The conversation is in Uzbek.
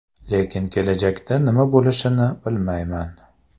Lekin kelajakda nima bo‘lishini bilmayman.